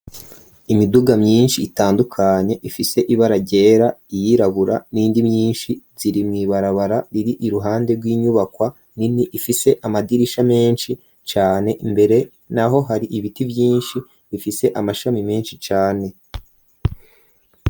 Imiduga myinshi itandukanye ifise ibara ryera, iyirabura, n'iyindi myinshi, ziri mw'ibarabara riri iruhande rw'inyubakwa nini ifise amadirisha menshi cane, imbere naho hari ibiti vyinshi bifise amashami menshi cane.